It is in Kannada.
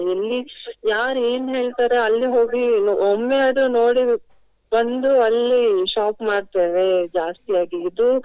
ಎಲ್ಲಿ ಯಾರು ಏನು ಹೇಳ್ತಾರೆ ಅಲ್ಲಿ ಹೋಗಿ ಒಮ್ಮೆ ಆದ್ರೂ ನೋಡಿ ಬಂದು ಅಲ್ಲಿ shop ಮಾಡ್ತೇವೆ ಜಾಸ್ತಿಯಾಗಿ ಇದು.